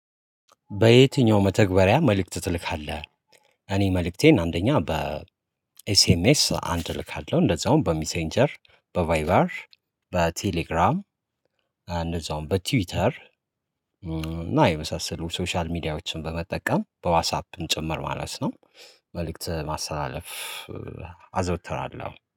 በየትኛው መተግበሪያ መልእክት ትልካለህ? እኔ መልእክቴን አንደኛ በኤስኤምኤስ አንድ እልካለሁ እንደዛውም በሚሴንጀር በቫይበር በቴሌግራም እንደዛውም በትዊተር እና የመሳሰሉ ሶሻል ሚዲያዎችን በመጠቀም በዋስአፕም ጭምር ማለት ነው። መልእክት ማስተላለፍ አዘውተራለሁ